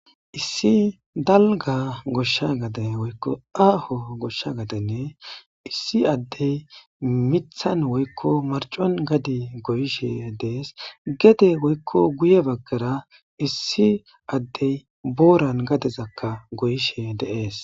Issi dalga gade woyiko aaho goshsha gaden issi addey miththan woyiko marccon gade goyishe dees.gede woyiko guye baggara issi addey booran gadeza goyisheka de7ees.